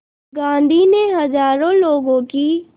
गांधी ने हज़ारों लोगों की